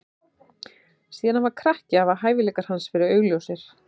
Síðan hann var krakki hafa hæfileikar hans verið augljósir.